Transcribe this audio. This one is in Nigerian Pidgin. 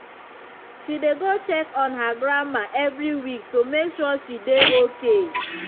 she dey go check on her grandma every week to make sure she dey okay.